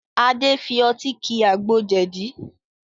Adé fi ọtí ki àgbo jẹ̀dí